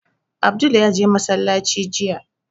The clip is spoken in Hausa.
Abdul ya je masallaci jiya